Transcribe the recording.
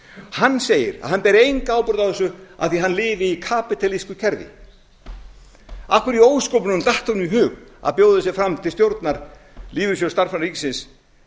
hann segir að hann beri enga ábyrgð á þessu af því að hann lifi í kapítalísku kerfi af hverju í ósköpunum datt honum í hug að bjóða sig fram til stjórnar lífeyrissjóðs starfsmanna ríkisins